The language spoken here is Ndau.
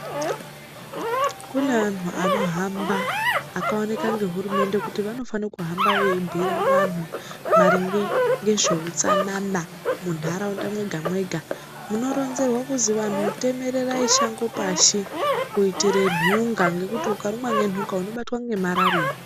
Kune antu vanohamba vakaonekwa nehurumende kuti vanofana kuhamba veibhuire vantu maringe nezvehutsanana mundaraunda mwega mwega munoronzerwa kuziva vantu temererai Shango pashi kuitira nhunga ngekuti ukarumwa ngenhunga unobatwa ngemararia.